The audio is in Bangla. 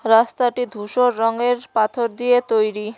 রাস্তাটি ধূসর রঙ্গের পাথর দিয়ে তৈরি।